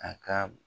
A ka